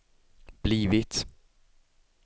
blivit